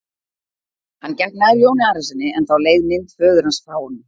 Hann gekk nær Jóni Arasyni en þá leið mynd föður hans frá honum.